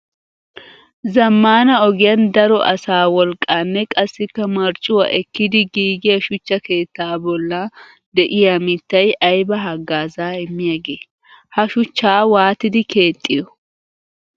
Zamaana ogiyan daro asaa wolaqqanne qassikka marccuwa ekkiddi giigiya shuchcha keetta bolla de'iya mittay aybba hagaaza immiyaage? Ha shuchcha waattiddi keexiyo?